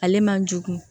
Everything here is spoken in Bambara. Ale man jugun